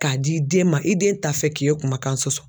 K'a di den ma, i den t'a fɛ k'e kumakan sɔsɔ